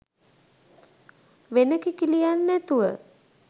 වෙන කිකිළියන් නැතුව